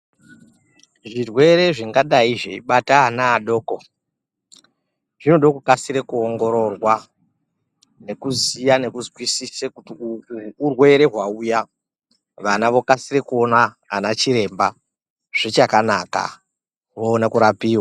Zvirwere zvingadai zveibata ana adoko zvode kukasire kuongororwa ngekuziya nekuzwisise kuti uhwu urwere hwauya vana vokasire kuona ana chiremba zvichakanaka oone kurapiwa.